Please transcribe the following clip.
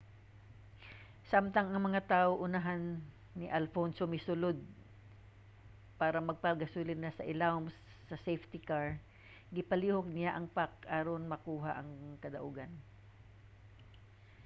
samtang ang mga awto sa unahan ni alonso misulod para magpagasolina sa ilawom sa safety car gipalihok niya ang pack aron makuha ang kadaugan